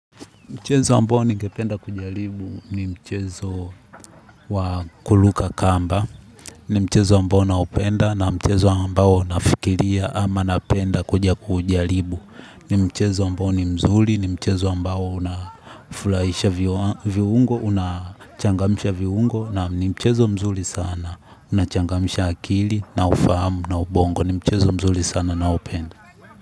Mchezo ambao ningependa kujaribu ni mchezo wakuruka kamba, ni mchezo ambao naupenda, na mchezo ambao nafikiria ama napenda kuja kuujaribu. Ni mchezo ambao ni mzuri ni mchezo ambao unafuraisha viungo, unachangamsha viungo, na ni mchezo mzuri sana, unachangamsha akili, na ufahamu, na ubongo. Ni mchezo mzuri sana naupenda.